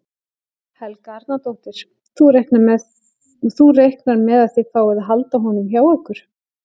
Helga Arnardóttir: Þú reiknar með að þið fáið að halda honum hjá ykkur?